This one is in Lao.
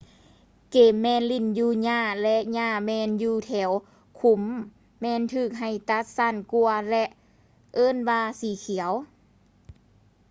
ເກມແມ່ນຫຼິ້ນຢູ່ຫຍ້າ ແລະ ຫຍ້າແມ່ນຢູ່ແຖວຂຸມແມ່ນຖືກໃຫ້ຕັດສັ້ນກວ່າ ແລະ ເອີ້ນວ່າສີຂຽວ